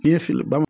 N'i ye feere bama